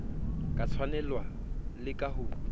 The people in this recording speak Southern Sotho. ka tshwanelo le ka ho